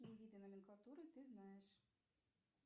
какие виды номенклатуры ты знаешь